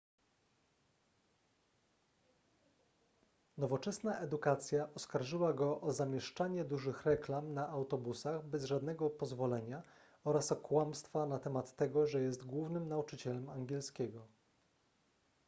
nowoczesna edukacja oskarżyła go o zamieszczanie dużych reklam na autobusach bez żadnego pozwolenia oraz o kłamstwa na temat tego że jest głównym nauczycielem angielskiego